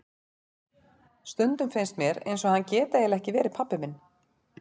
Stundum finnst mér eins og hann geti eiginlega ekki verið pabbi minn.